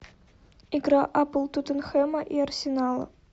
игра апл тоттенхэма и арсенала